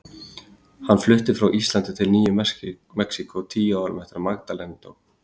Hann flutti frá Íslandi til Nýju Mexíkó tíu árum eftir að Magdalena dó.